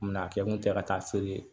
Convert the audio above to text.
Mina a kɛ kun tɛ ka taa feere